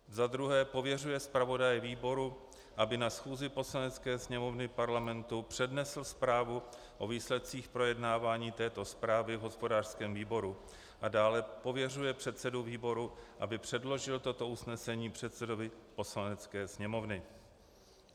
Za druhé, pověřuje zpravodaje výboru, aby na schůzi Poslanecké sněmovny Parlamentu přednesl zprávu o výsledcích projednávání této zprávy v hospodářském výboru, a dále, pověřuje předsedu výboru, aby předložil toto usnesení předsedovi Poslanecké sněmovny.